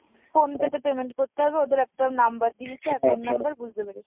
phone pay তে payment করতে হবে ওদের একটা number দিয়েছে account number বুজতে পেরেছি।